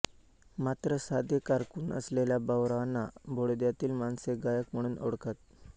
मात्र साधे कारकून असलेल्या भाऊरावाना बडोद्यातील माणसे गायक म्हणून ओळखत